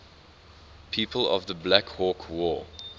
people of the black hawk war